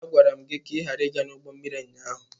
A gwara m gị ka ị ghara ịga n'ụgbọ mmiri ụnyaahụ!